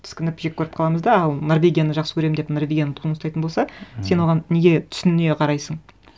тіскініп жек көріп қаламыз да ал норвегияны жақсы көремін деп норвегияның туын ұстайтын болса сен оған неге түсіне қарайсың